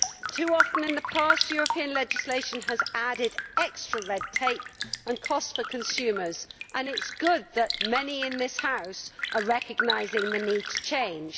Too often in the past European legislation has added extra red tape and cost for consumers and it is good that many in this House are recognising the need to change.